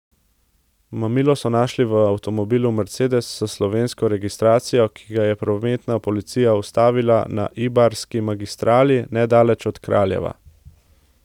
Mamilo so našli v avtomobilu mercedes s slovensko registracijo, ki ga je prometna policija ustavila na Ibarski magistrali nedaleč od Kraljeva.